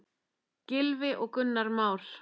Gylfi og Gunnar Már.